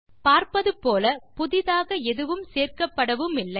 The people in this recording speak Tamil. பார்ப்பது போல புதியதாக எதுவும் சேர்க்கப்படவுமில்லை